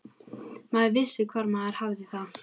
Maður vissi hvar maður hafði það.